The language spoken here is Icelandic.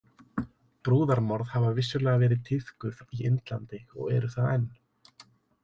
Brúðarmorð hafa vissulega verið tíðkuð í Indlandi og eru það enn.